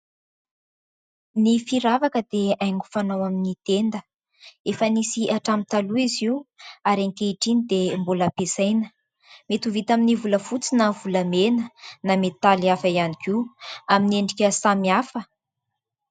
Ny firavaka dia haingo fanao amin'ny tenda. Efa nisy hatramin'ny taloha izy io ary ankehitriny dia mbola ampiasaina. Mety ho vita amin'ny volafotsy na volamena na metaly hafa ihany koa amin'ny endrika samihafa.